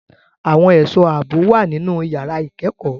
Àwọn ẹ̀ṣọ́ ààbò wà nínú yàrá ìkẹ́kọ̀ọ́.